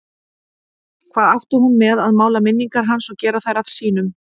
Hvað átti hún með að mála minningar hans og gera þær að sínum?